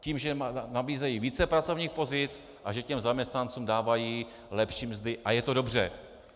Tím, že nabízejí více pracovních pozic a že těm zaměstnancům dávají lepší mzdy, a je to dobře.